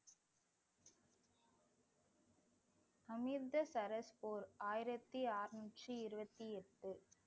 அமிர்தசரஸ் போர் ஆயிரத்தி அறுநூற்றி இருபத்தி எட்டு